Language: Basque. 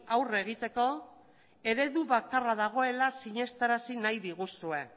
aurre egiteko eredu bakarra dagoela sinestarazi nahi diguzue